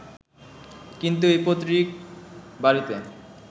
কিন্তু ওই পৈত্রিক বাড়িতে